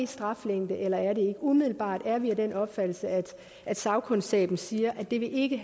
straflængde eller ej umiddelbart er vi af den opfattelse at at sagkundskaben siger at det ikke